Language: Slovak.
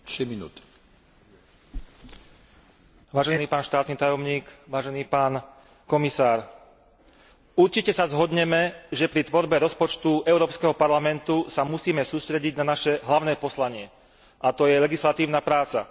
Vážený pán predseda, vážený pán štátny tajomník, vážený pán komisár, určite sa zhodneme, že pri tvorbe rozpočtu Európskeho parlamentu sa musíme sústrediť na naše hlavné poslanie, a to je legislatívna práca.